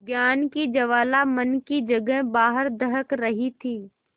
ज्ञान की ज्वाला मन की जगह बाहर दहक रही थी